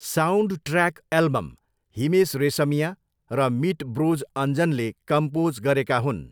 Soundtrack album Himesh Reshammiya र Meet Bros अञ्जनले compose गरेका हुन्।